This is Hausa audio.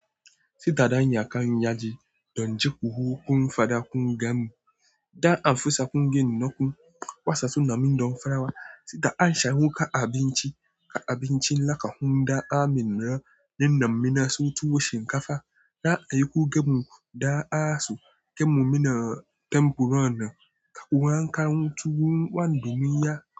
Sida danya kan yaji don jiƙu hukun fada kun ga mu, da an fusa kun gin naku wasasu namun don farawa, sida an sha huka abinci ka abinci laka hunda aminra nin nam mina so tuwo shinkafa, da ayuku ga mu da aso gemu mina tempuron nan ka wankan tuwun wandumiya.